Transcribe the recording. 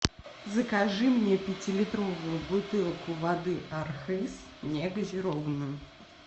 закажи мне пятилитровую бутылку воды архыз негазированную